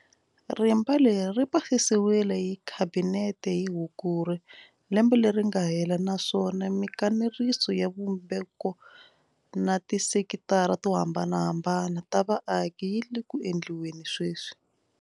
Rimba leri ri pasisiwile hi Khabinete hi Hukuri lembe leri nga hela naswona mikanerisano ya xivumbeko na tisekitara to hambanahambana ta vaaki yi le ku endliweni sweswi.